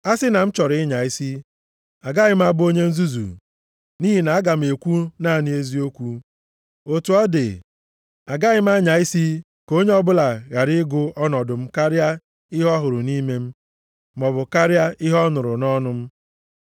A sị na m chọrọ ịnya isi, agaghị m abụ onye nzuzu, nʼihi na aga m ekwu naanị eziokwu. Otu ọ dị, agaghị m anya isi ka onye ọbụla ghara ịgụ ọnọdụ m karịa ihe ọ hụrụ nʼime m, maọbụ karịa ihe ọ nụrụ nʼọnụ m.